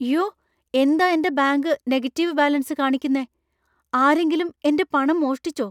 യ്യോ! എന്താ എന്‍റെ ബാങ്ക് നെഗറ്റീവ് ബാലൻസ് കാണിക്കുന്നെ? ആരെങ്കിലും എന്‍റെ പണം മോഷ്ടിച്ചോ?